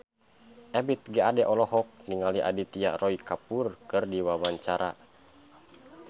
Ebith G. Ade olohok ningali Aditya Roy Kapoor keur diwawancara